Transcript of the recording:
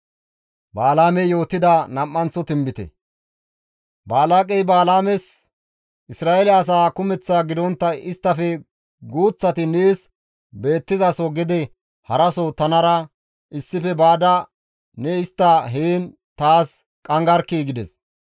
Balaaqey Balaames, «Isra7eele asaa kumeththaa gidontta isttafe guuththati nees beettizaso gede haraso tanara issife baada ne istta heen taas qanggarkkii!» gides.